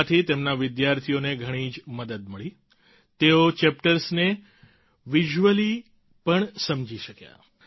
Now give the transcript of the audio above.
તેનાથી તેમના વિદ્યાર્થીઓને ઘણી જ મદદ મળી તેઓ ચેપ્ટર્સને વિઝ્યુઅલી પણ સમજી શક્યા